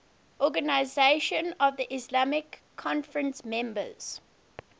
organisation of the islamic conference members